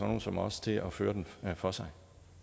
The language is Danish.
nogle som os til at føre den for sig